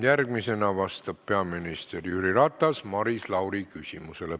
Järgmisena vastab peaminister Jüri Ratas Maris Lauri küsimusele.